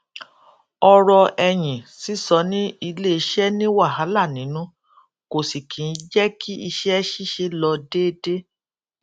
ọrọ ẹyìn sísọ ní iléiṣẹ ni wàhálà nínú kò sì kí ń jẹ kí iṣẹ ṣíṣe lọ déédé